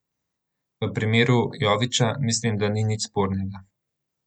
V primeru Jovića mislim, da ni nič spornega.